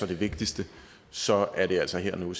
det vigtigste så er det altså her og nu